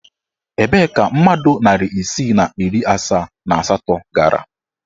Ebee ka mmadụ narị isii na iri asaa and asatọ gara?